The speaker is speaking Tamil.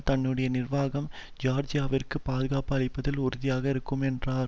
தன்னுடைய நிர்வாகம் ஜியார்ஜியாவிற்கு பாதுகாப்பு அளிப்பதில் உறுதியாக இருக்கும் என்றார்